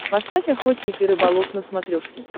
поставь охотник и рыболов на смотрешке